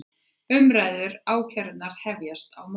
Umræður um ákærurnar hefjast á morgun